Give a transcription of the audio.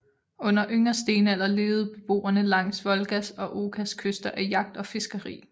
Under yngre stenalder levede beboerne langs Volgas og Okas kyster af jagt og fiskeri